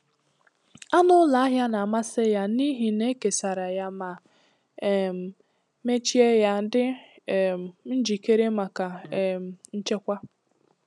Anụ ụlọ ahịa na-amasị ya n'ihi na e kesara ya ma um mechie ya, dị um njikere maka um nchekwa.